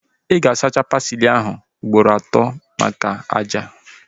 Ị ga-asacha pasili ahu ugboro atọ maka ájá